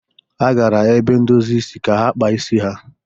Ha gara ebe ndozi isi ka ha kpa isi ha.